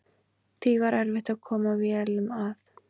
Því var erfitt að koma vélum að.